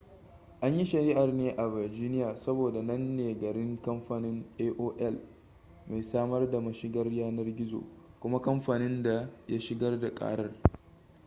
an yi shari'ar ne a virginia saboda nan ne garin kamfanin aol mai samar da mashigar yanar gizo kuma kamfanin da ya shigar da karar